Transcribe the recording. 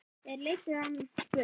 Þeir leiddu hann burt.